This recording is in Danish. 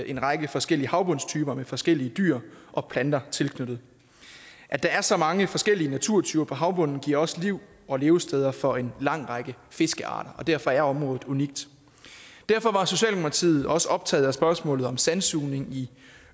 en række forskellige havbundstyper med forskellige dyr og planter tilknyttet at der er så mange forskellige naturtyper på havbunden giver også liv og levesteder for en lang række fiskearter og derfor er området unikt derfor var socialdemokratiet også optaget af spørgsmålet om sandsugning i